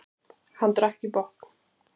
Hann drakk í botn.